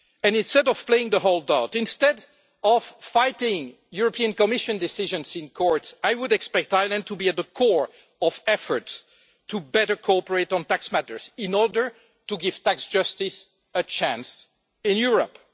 Instead of playing hold-out, instead of fighting European Commission decisions in court, I would expect Ireland to be at the core of efforts to better cooperate on tax matters in order to give tax justice a chance in Europe.